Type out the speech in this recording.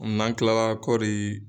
N'an kilara kɔɔri